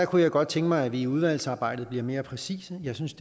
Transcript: kunne godt tænke mig at vi i udvalgsarbejdet bliver mere præcise jeg synes